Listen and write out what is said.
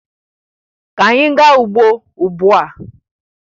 Ka anyị gaa ugbo ugbu a!